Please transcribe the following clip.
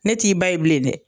Ne t'i ba ye bilen dɛ